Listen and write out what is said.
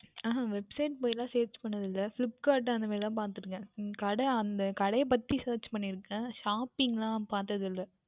அஹ் அஹ் Website போய் எல்லாம் Search பன்னது இல்லை Flipkart அந்த மாதிரி தான் பார்த்து இருக்கின்றேன் என் கடை அந்த கடைகளை பற்றி Search பண்ணியிருக்கிறேன் Shopping எல்லாம் பார்த்தது இல்லை